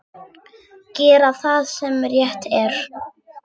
Gera það sem rétt er.